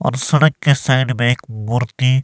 और सड़क के साइड में एक मूर्ति--